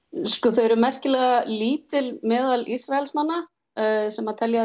þau eru merkilega lítil meðal Ísraelsmanna sem telja